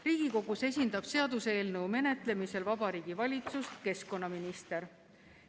Riigikogus esindab seaduseelnõu menetlemisel Vabariigi Valitsust keskkonnaminister.